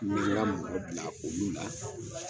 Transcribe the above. N mɛ n ga mɔgɔ bila u la